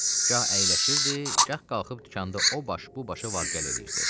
Gah əyləşirdi, gah qalxıb dükanda o baş bu başa var gəl eləyirdi.